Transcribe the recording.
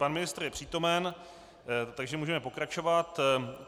Pan ministr je přítomen, takže můžeme pokračovat.